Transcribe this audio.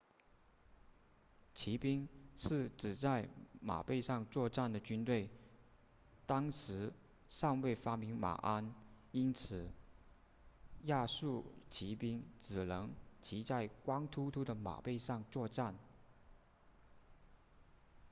骑兵是指在马背上作战的军队当时尚未发明马鞍因此亚述骑兵只能骑在光秃秃的马背上作战